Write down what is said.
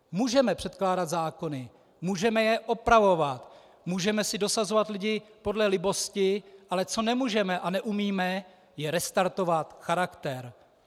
Můžeme předkládat zákony, můžeme je opravovat, můžeme si dosazovat lidi podle libosti, ale co nemůžeme a neumíme, je restartovat charakter.